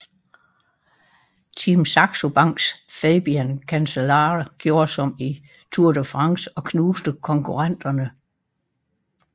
Team Saxo Banks Fabian Cancellara gjorde som i Tour de France og knuste konkurrenterne